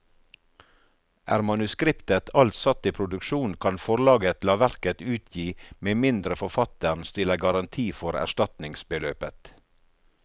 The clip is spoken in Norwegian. Er manuskriptet alt satt i produksjon, kan forlaget la verket utgi med mindre forfatteren stiller garanti for erstatningsbeløpet.